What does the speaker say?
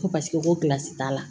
Ko paseke ko baasi t'a la